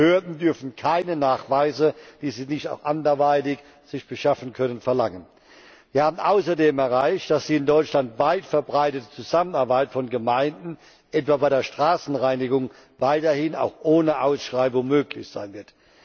Behörden dürfen keine Nachweise, die sie sich auch anderweitig beschaffen können, verlangen. Wir haben außerdem erreicht, dass die in Deutschland weit verbreitete Zusammenarbeit von Gemeinden etwa bei der Straßenreinigung weiterhin auch ohne Ausschreibung möglich sein wird.